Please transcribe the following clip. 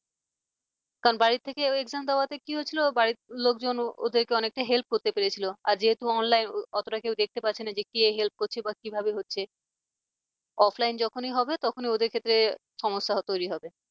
কারণ বাড়ি থেকে ওই exam দেওয়াতে কি হয়েছিল বাড়ির লোকজন ওদেরকে অনেকটা help করতে পেরেছিল আর যেহেতু online অতটা কেউ দেখতে পাচ্ছে না যে কে help করছে বা কিভাবে হচ্ছে offline যখনই হবে তখনই ওদের ক্ষেত্রে সমস্যা তৈরি হবে।